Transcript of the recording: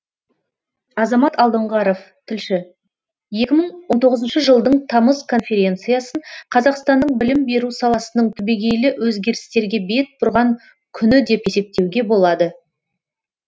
азамат алдоңғаров тілші екі мың он тоғызыншы жылдың тамыз конференциясын қазақстанның білім беру саласының түбегейлі өзгерістерге бет бұрған күні деп есептеуге болады